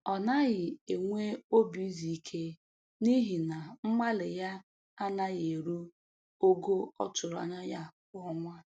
Ọ naghị enwe obi izu ike n'ihi na mgbalị ya anaghị eru ogo ọ tụrụ anya ya kwa ọnwa